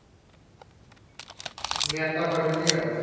मी आता पाठवली ते का